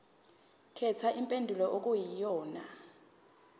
khetha impendulo okuyiyona